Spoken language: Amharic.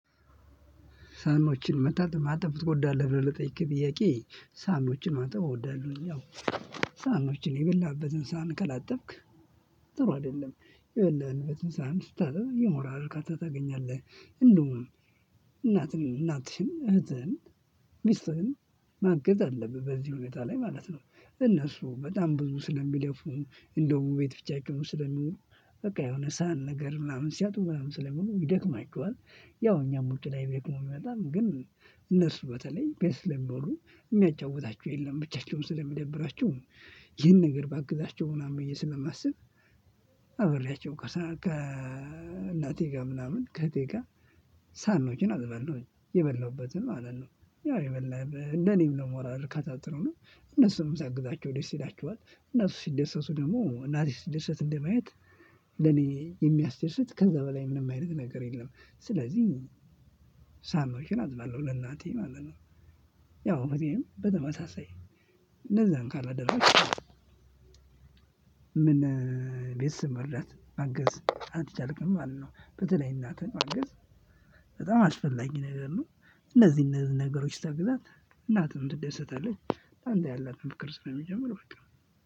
ሳህኖችን ማጠብ ትወዳለህ ብለህ ለጠየቅከኝ ጥያቄ ሳህኖችን ማጠብ እወዳለሁኝ። ያው ሳህኖችን የበላህበትን ሳህን ከላጠብክ ጥሩ አይደለም የበላህበትን ሳህን ስታጥብ የሞራል ዕርካታ ታገኛለህ። እንዲሁም እናትህን እናትሽን እህትህን ሚስትህን ማገዝ አለብህ በዚህ ሁኔታ ላይ ማለት ነው። እነሱ በጣም ብዙ ስለሚለፉ እንደው ቤት ብቻቸውን ስለሚውሉ በቃ የሆነ ሳህን ነገር ምናምን ሲያጥቡ ምናምን ስለሚውሉ ይደክማቸዋል። ያው እኛም ውጪ ላይ ደክሞን ብንመጣም ግን እነሱ በተለይ ቤት ስለሚውሉ የሚያጫውታቸው የለም ብቻቸውን ስለሚደብራቸውም። ይሄን ነገር ባግዛቸው ምናምን ብዬ ስለማስብ። አብሬያቸው ከእናቴ ጋር ምናምን ከእህቴ ጋር ሳህኖችን አጥለሁኝ የበላሁበትን ማለት ነው። ያው የበላህበት ለኔም ነው ለሞራል ዕርካታ ጥሩ ነው። እነሱን ሳግዛቸው ደስ ይላቸዋል እነሱ ሲደሰቱ ደግሞ እናቴ ስትደሰት እንደማየት ለኔ የሚያስደስት ከዛ በላይ ምንም አይነት ነገር የለም። ስለዚህ ሳህኖችን አጥባለሁ ለእናቴ ማለት ነው። ያው እህቴም በጣም በተመሳሳይ እነዛን ካላደረገች ምን? ቤተሰብ መርዳት ማገዝ አልቻልክም ማለት ነው። በተለይ እናትን ማገዝ በጣም አስፈላጊ ነገር ነው። እነዚህ እነዚህን ነገሮች ስታግዛት እናትህም ትደስታለች ለአንተ ያላትም ፍቅር ስለሚጨምር በቃ።